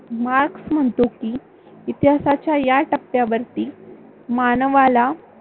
marks म्हणतो की, इतिहासाच्या या टप्प्यावरती मानवाला